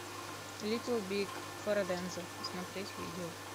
литл биг фараденза смотреть видео